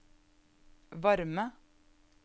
varme